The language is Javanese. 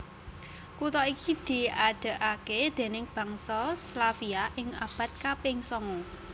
Kutha iki diadegaké déning bangsa Slavia ing abad kaping sanga